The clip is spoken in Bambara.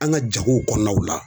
An ga jagow kɔnɔnaw la